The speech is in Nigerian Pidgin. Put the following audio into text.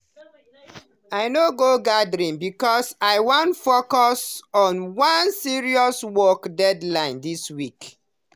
i no go the gathering because i wan focus on one serious work deadline this weekend.